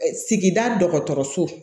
Sigida dɔgɔtɔrɔso